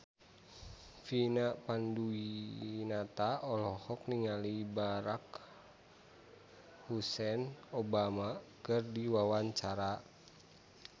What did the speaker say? Vina Panduwinata olohok ningali Barack Hussein Obama keur diwawancara